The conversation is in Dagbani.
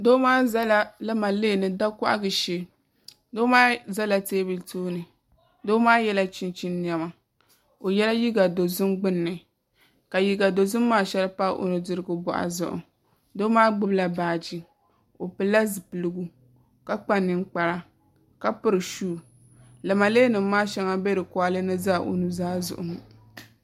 Doo maa ʒɛla lamalee ni da kohagu shee doo maa yɛla chinchin niɛma i yɛla liiga dozim gbunni ka liiga dozim maa shɛli pa o nudirigu boɣu zuɣu doo maa gbubila baaji o pilila zipiligu ka kpa ninkpara ka piri shuu lamalee nim maa shɛŋa n bɛ di koɣalɛ ni n ʒɛ o nuzaa zuɣu ŋo